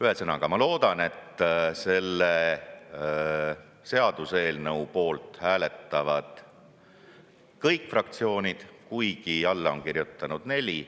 Ühesõnaga, ma loodan, et selle seaduseelnõu poolt hääletavad kõik fraktsioonid, kuigi alla on kirjutanud neli.